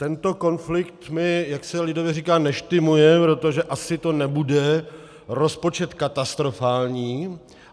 Tento konflikt mi, jak se lidově říká, neštymuje, protože to asi nebude rozpočet katastrofální.